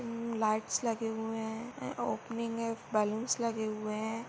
Lights लगे हुए है ओपनिंग है बलून्स लगे हुए है।